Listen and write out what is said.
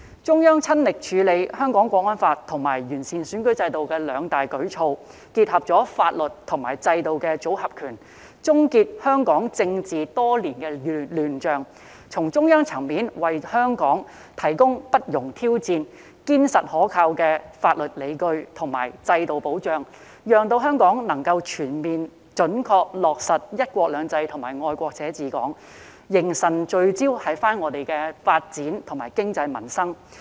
中央親力處理《香港國安法》及完善選舉制度這兩大舉措，結合了法律及制度的"組合拳"，終結香港多年的政治亂象，從中央層面為香港提供不容挑戰、堅實可靠的法律理據及制度保障，讓香港能夠全面準確落實"一國兩制"及"愛國者治港"，形神聚焦於香港的發展、經濟及民生。